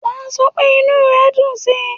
Wà á sọ pé inú re dùn síi.